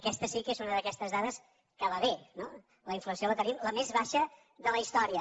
aquesta sí que és una d’aquestes dades que va bé no la inflació la tenim la més baixa de la història